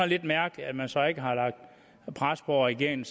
lidt mærkeligt at man så ikke har lagt pres på regeringen